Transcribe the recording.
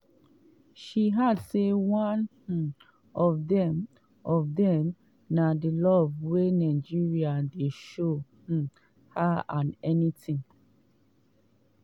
she add say one um of dem of dem na di love wey nigerians dey show um her and anytin